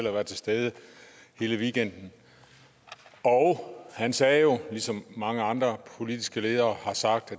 at være til stede hele weekenden han sagde jo det som mange andre politiske ledere har sagt